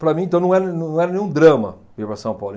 Para mim, então, não era não era nenhum drama vir para São Paulo.